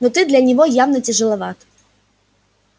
но ты для него явно тяжеловат